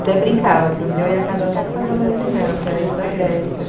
Até brincava que um dia eu ia casar só com as alas de mel, que era ir para Grécia.